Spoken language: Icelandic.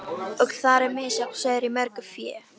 Og þar er misjafn sauður í mörgu fé.